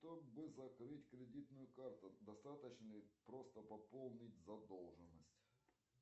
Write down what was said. чтобы закрыть кредитную карту достаточно ли просто пополнить задолженность